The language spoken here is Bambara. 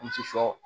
Muso